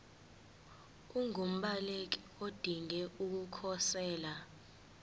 ungumbaleki odinge ukukhosela